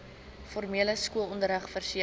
formele skoolonderrig verseker